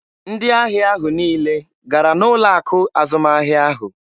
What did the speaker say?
Ndị ahịa ahụ niile gara n'ụlọ akụ azụmahịa ahụ.